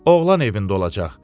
Oğlan evində olacaq.